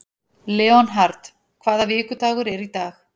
Leonhard, hvaða vikudagur er í dag?